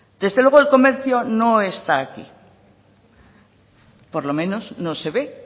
desde luego el comercio no está aquí por lo menos no se ve